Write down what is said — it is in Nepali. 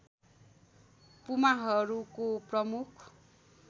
पुमाहरूको प्रमुख